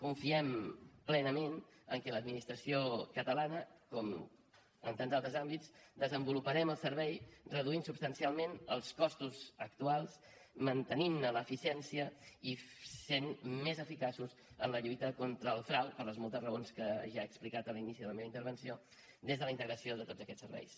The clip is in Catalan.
confiem plenament que l’administració catalana com en tants altres àmbits desenvoluparem el servei reduint substancialment els costos actuals mantenint ne l’eficiència i sent més eficaços en la lluita contra el frau per les moltes raons que ja he explicat a l’inici de la meva intervenció des de la integració de tots aquests serveis